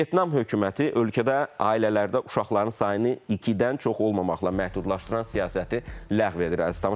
Vyetnam hökuməti ölkədə ailələrdə uşaqların sayını ikidən çox olmamaqla məhdudlaşdıran siyasəti ləğv edir, əziz tamaşaçılar.